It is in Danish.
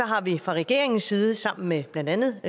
har vi fra regeringens side sammen med blandt andet